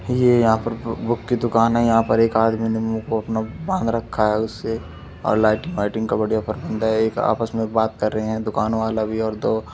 ये यहाँ पर बुक की दुकान है | यहाँ पर एक आदमी ने मुंह को अपना बांध रखा है उससे और लाइटिंग वायटिंग का बढ़िया प्रबंध है | एक आपस मे बात कर रहे हैं दुकान वाला भी ओर दो--